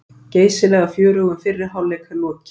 Geysilega fjörugum fyrri hálfleik er lokið